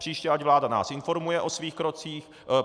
Příště ať nás vláda informuje o svých krocích.